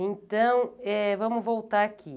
Então, eh vamos voltar aqui.